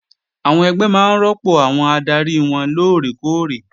Àwọn ẹgbẹ́ máa rọ́pò àwọn adarí wọn lóòrè kóòrè